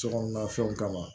Sokɔnɔna fɛnw kama